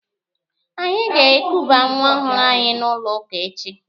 Anyị ga-ekuba nwa ọhụrụ anyị n'ụlọ ụka echi.